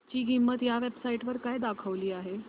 ची किंमत या वेब साइट वर काय दाखवली आहे